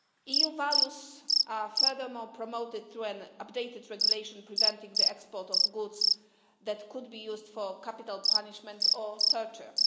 EU values are, furthermore, promoted through an updated regulation preventing the export of goods that could be used for capital punishment or torture.